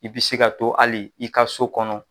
I bi se ka to hali i ka so kɔnɔ